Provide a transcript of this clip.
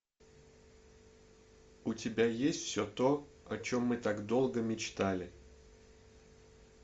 у тебя есть все то о чем мы так долго мечтали